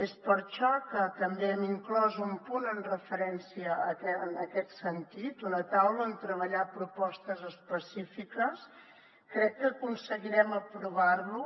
és per això que també hem inclòs un punt en referència en aquest sentit una taula on treballar propostes específiques crec que aconseguirem aprovar lo